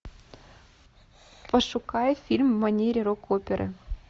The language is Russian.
пошукай фильм в манере рок оперы